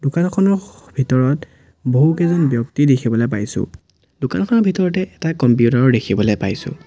দোকানখনৰ স ভিতৰত বহুকেইজন ব্যক্তি দেখিবলৈ পাইছোঁ দোকানখনৰ ভিতৰতে এটা কম্পিউটাৰ ও দেখিবলৈ পাইছোঁ।